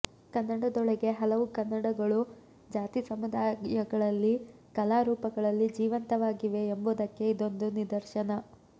ಕನ್ನಡದೊಳಗೆ ಹಲವು ಕನ್ನಡಗಳು ಜಾತಿಸಮುದಾಯಗಳಲ್ಲಿ ಕಲಾರೂಪಗಳಲ್ಲಿ ಜೀವಂತವಾಗಿವೆ ಎಂಬುದಕ್ಕೆ ಇದೊಂದು ನಿದರ್ಶನ